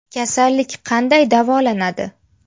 Kasallik qanday davolanadi?